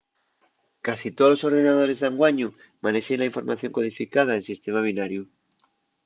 casi tolos ordenadores d'anguaño manexen la información codificada en sistema binariu